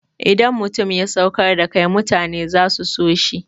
Idan mutum ya saukar da kai mutane za su so shi.